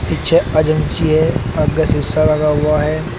पीछे एजेंसी है आगे शीशा लगा हुआ है।